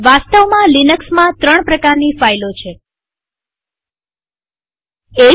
વાસ્તવમાં લિનક્સમાં ત્રણ પ્રકારની ફાઈલો છે ૧